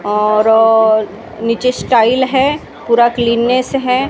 और नीचे स्टाइल है पूरा क्लीनेस है।